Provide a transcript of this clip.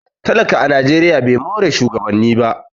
talaka a najeriya ba more shugabanni ba